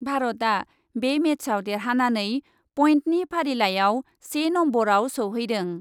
भारतआ बे मेचआव देरहानानै पइन्टनि फारिलाइआव से नम्बरआव सौहैदों।